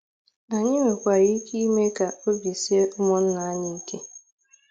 Anyị nwekwara ike ime ka obi sie ụmụnna anyị ike.